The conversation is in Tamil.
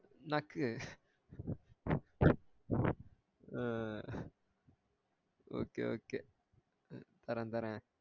நக்கு ஆஹ் okay okay தரேன் தரேன்